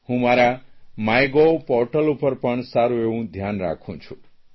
હું મારા MyGov portal પર પણ સારૂં એવું ધ્યાન રાખું છું